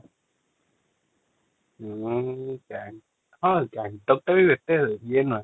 ଉଁ ଗ୍ୟାଙ୍ଗଟକ ହଁ ଗ୍ୟାଙ୍ଗଟକ ଟା ବି ଏତେ ଇଏ ନୁହେଁ